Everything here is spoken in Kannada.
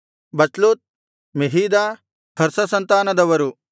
ಬಚ್ಲೂತ್ ಮೆಹೀದ ಹರ್ಷ ಸಂತಾನದವರು